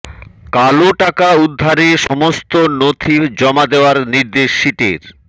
কালো টাকা উদ্ধারে সমস্ত নথি জমা দেওয়ার নির্দেশ সিটের